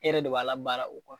E yɛrɛ de b'a labaara o kuwa